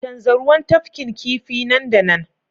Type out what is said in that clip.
canza ruwan tafkin kifi nan da nan